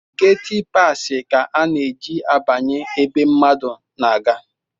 Gatipasi ka a na-eji abanye ebe mmadu na-aga